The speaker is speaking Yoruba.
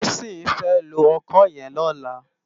Tosin fè ló òkõ yèn lòlá